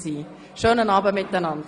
Einen schönen Abend!